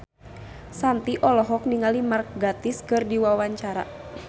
Shanti olohok ningali Mark Gatiss keur diwawancara